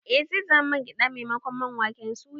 I, zai zama man gyade ne maimakon man waken suya